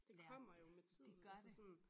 Det kommer jo med tiden altså sådan